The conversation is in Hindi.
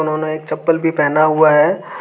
उन्होंने एक चप्पल भी पहना हुआ है।